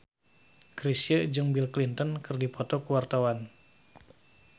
Chrisye jeung Bill Clinton keur dipoto ku wartawan